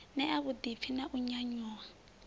ṋea vhuḓipfi na u nyanyuwa